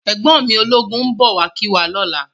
Ègbòn mi ólógún n bò wá kiwá lòlá